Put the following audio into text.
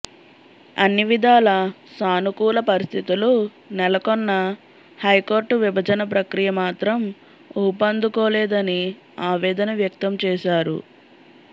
అన్ని విధాల సానుకూల పరిస్థితులు నెలకొన్నా హైకోర్టు విభజన ప్రక్రియ మాత్రం ఊపందుకోలేదని ఆవేదన వ్యక్తం చేశారు